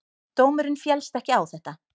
Dómurinn féllst ekki á þetta.